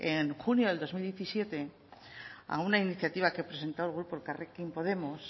en junio de dos mil diecisiete a una iniciativa que presentó el grupo elkarrekin podemos